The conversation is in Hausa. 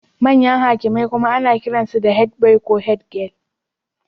Manyan hakimai kuma ana kiransu da head boy ko head girl.